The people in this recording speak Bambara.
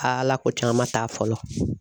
Aa ala ko tiɲɛn caman ma taa fɔlɔ.